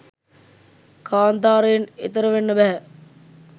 කාන්තාරයෙන් එතෙර වෙන්න බැහැ.